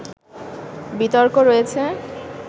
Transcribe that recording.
বিতর্ক রয়েছে